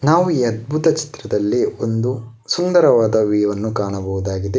ನಾವು ಈ ಅದ್ಭುತ ಚಿತ್ರದಲ್ಲಿ ಒಂದು ಸುಂದರವಾದ ವ್ಯೂ ವನ್ನು ಕಾಣಬಹುದಾಗಿದೆ.